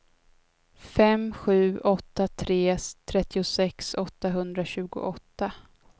fem sju åtta tre trettiosex åttahundratjugoåtta